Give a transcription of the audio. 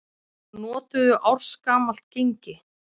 Notuðu ársgamalt gengi